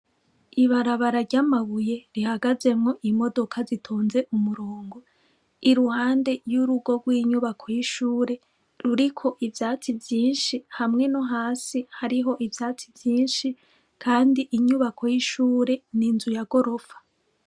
Ibarabara ry’amabuye rihagazemwo imodoka zitonze umurongo i ruhande y'urugo rw'inyubako y'ishure ruriko ivyatsi vyinshi hamwe no hasi hariho ivyatsi vyinshi, kandi inyubako y'ishure ni nzu ya gorofa.